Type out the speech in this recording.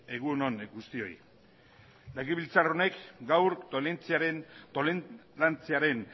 egun on guztioi legebiltzar honek gaur tolerantziaren